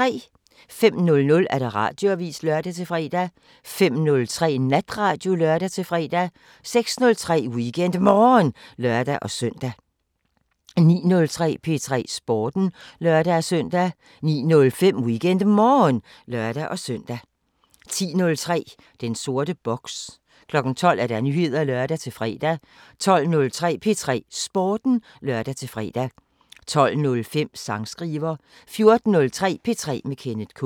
05:00: Radioavisen (lør-fre) 05:03: Natradio (lør-fre) 06:03: WeekendMorgen (lør-søn) 09:03: P3 Sporten (lør-søn) 09:05: WeekendMorgen (lør-søn) 10:03: Den sorte boks 12:00: Nyheder (lør-fre) 12:03: P3 Sporten (lør-fre) 12:05: Sangskriver 14:03: P3 med Kenneth K